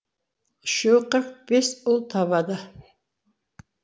үшеуі қырық бес ұл табады